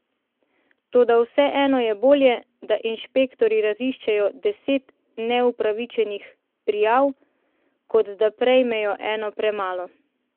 Toda vseeno je bolje, da inšpektorji raziščejo deset neupravičenih prijav, kot da prejmejo eno premalo.